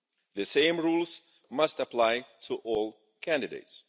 The same rules must apply to all candidates.